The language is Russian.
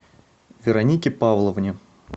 веронике павловне